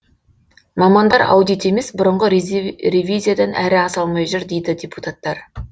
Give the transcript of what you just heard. мамандар аудит емес бұрынғы ревизиядан әрі аса алмай жүр дейді депутаттар